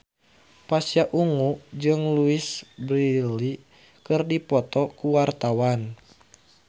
Pasha Ungu jeung Louise Brealey keur dipoto ku wartawan